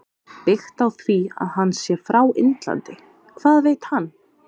Byggt á því að hann sé frá Indlandi- Hvað veit hann?